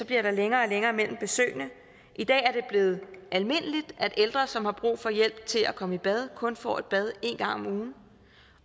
bliver der længere og længere mellem besøgene i dag er det blevet almindeligt at ældre som har brug for hjælp til at komme i bad kun får et bad en gang om ugen